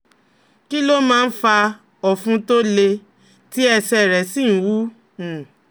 Kí ló máa ń fa ọ̀fun tó le, tí ẹsẹ̀ rẹ̀ sì ń wú? um